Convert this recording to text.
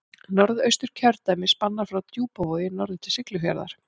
Norðausturkjördæmi spannar frá Djúpavogi norður til Siglufjarðar.